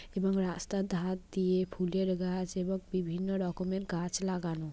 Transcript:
এবং রাস্তার ধার দিয়ে ফুলের গাছ এবং বিভিন্ন রকমের গাছ লাগানো।